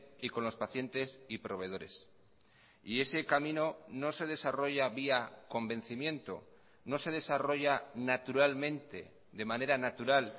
y con los pacientes y proveedores y ese camino no se desarrolla vía convencimiento no se desarrolla naturalmente de manera natural